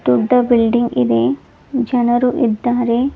ದೊಡ್ಡ ಬಿಲ್ಡಿಂಗ್ ಇದೆ ಜನರು ಇದ್ದಾರೆ.